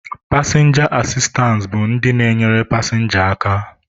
Pasịnja asistance bụ ndị na-enyere pasịnja aka.